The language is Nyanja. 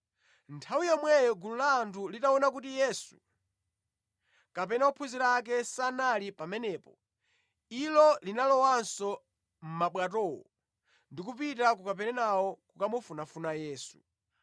Nthawi yomwe gulu la anthu linaona kuti Yesu kapena ophunzira ake sanali pamenepo, ilo linalowanso mʼmabwatowo ndi kupita ku Kaperenawo kukamufunafuna Yesu.